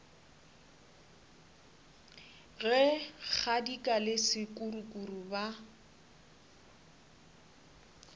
ge kgadika le sekukuru ba